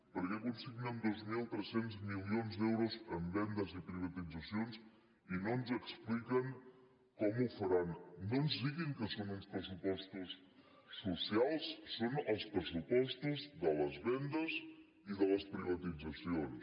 per què consignen dos mil tres cents milions d’euros en vendes i privatitzacions i no ens expliquen com ho faran no ens diguin que són uns pressupostos socials són els pressupostos de les vendes i de les privatitzacions